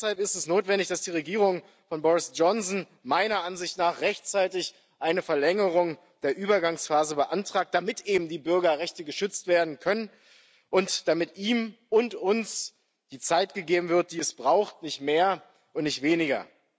Deshalb ist es notwendig, dass die Regierung von Boris Johnson meiner Ansicht nach rechtzeitig eine Verlängerung der Übergangsphase beantragt, damit eben die Bürgerrechte geschützt werden können und damit ihm und uns die Zeit gegeben wird, die es braucht nicht mehr und nicht weniger.